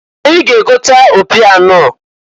Anyị ga-egota opi anọọ.